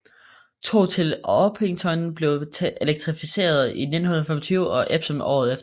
Tog til Orpington blev elektrificeret i 1925 og Epsom året efter